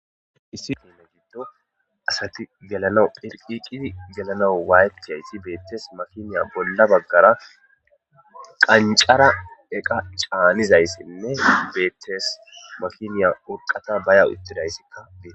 Issi fene giddo asati gelana phelqiqidi gelana waaytkaysi beettes makiniya bolla baggara qancara eqa caanizayssinne beettes makiniya urqata baya itidayssikkaee.